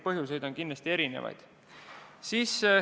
Põhjuseid on kindlasti erinevaid.